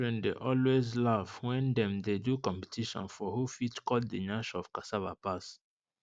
children dey always laugh wen dem dey do competition for who fit cut the nyash of cassava pass